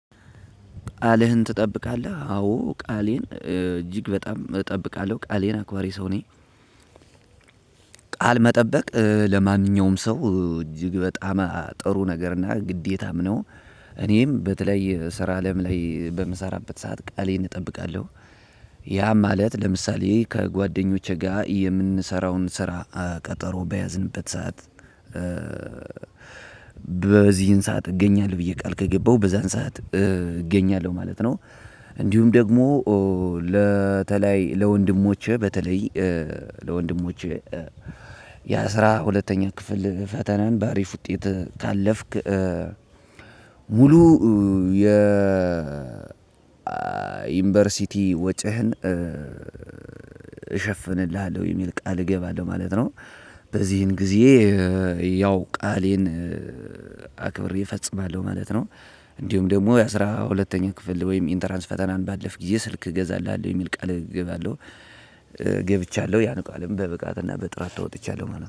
ቃልህን ትጠብቃለህ አዎ ቃሌን እጅግ በጣም እጠብቃለሁ ቃሌን አክባሪ ሰው ነኝ። ቃል መጠበቅ ለማንኛውም ሰው እጅግ በጣም ጥሩ ነገር እና ግዴታም ነው። እኔም በተለይ ስራ አለም ላይ በምሰራበት ሰዓት ቃሌን እጠብቃለሁ። ያ ማለት ለምሳሌ ከጓደኞቼ ጋር የምንሰራውን ስራ ቀጠሮ በያዝንበት ሰዓት በዚህን ሰዓት እገኛለሁ ብዬ ቃል ከገባሁ በዛን ሰዓት እገኛለሁ ማለት ነው። እንዲሁም ደግሞ ለተለይ ለወንድሞቼ በተለይ ለወንድሞቼ ያ ማለት ለምሳሌ ከጓደኞቼ ጋር የምንሰራውን ስራ ቀጠሮ በያዝንበት ሰዓት ሙሉ የ ዩኒቨርሲቲ ወጪህን እሸፍንልሃለሁ የሚል ቃል እገባለሁ ማለት ነው። በዚህም ጊዜ ያው ቃሌን አክብሬ እፈፅማለሁ ማለት ነው። እንዲሁም ደግሞ የአስራ ሁለተኛ ክፍል ወይም ኢንትራንስ ፈተና ባለፍክ ጊዜ ስልክ እገዛልሀለሁ የሚል ቃል እገባለሁ። ገብቻለሁ ያን ቃልም በብቃትእና በጥራት ተወጥቻለሁ ማለት